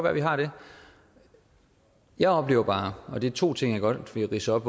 at vi har det jeg oplever bare og det er to ting jeg godt vil læse op